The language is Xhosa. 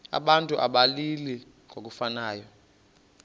abantu abalili ngokufanayo